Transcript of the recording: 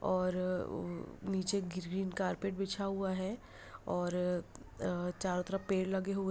और अ उ नीचे ग्रीन कारपेट बिछा हुआ है और अ चारों तरफ पेड़ लगे हुए हैं।